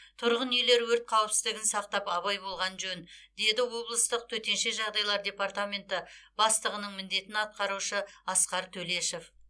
тұрғын үйлер өрт қауіпсіздігін сақтап абай болған жөн деді облыстық төтенше жағдайлар департаменті бастығының міндетін атқарушы асқар төлешов